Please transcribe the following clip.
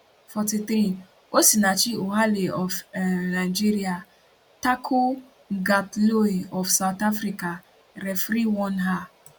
43 osinachi ohale of um nigeria tackle kgatloe of south africa referee warn her